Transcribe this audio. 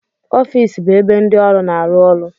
Ọfịs bụ ebe ndị ọrụ na-arụ ọrụ.